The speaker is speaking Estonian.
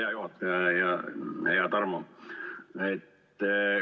Hea juhataja ja hea Tarmo!